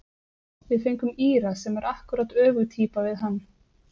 Við fengum Íra sem er akkúrat öfug týpa við hann.